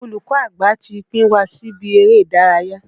Olùkọ́ àgbà ti pín wa síbi eré ìdárayá.